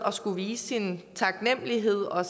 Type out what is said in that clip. at skulle vise sin taknemlighed og